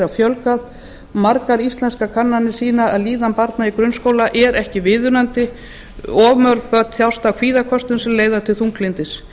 fjölgað margar íslenskar kannanir sýna að líðan barna í grunnskóla er ekki viðunandi of mörg börn þjást af kvíðaköstum sem leiða til þunglyndis